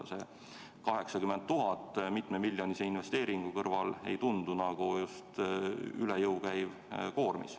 See 80 000 eurot mitmemiljonilise investeeringu kõrval ei tundu olevat üle jõu käiv koormis.